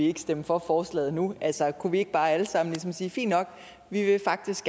ikke stemme for forslaget nu altså kunne vi ikke bare alle sammen ligesom sige fint nok vi er faktisk